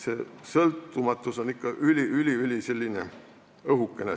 See sõltumatus on ikkagi üli-üliõhukene.